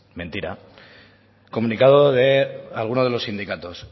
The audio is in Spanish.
mentira comunicado de alguno de los sindicatos